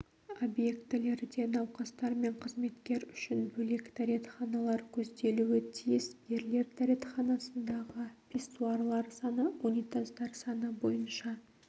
объектілерде науқастар мен қызметкер үшін бөлек дәретханалар көзделуі тиіс ерлер дәретханасындағы писсуарлар саны унитаздар саны бойынша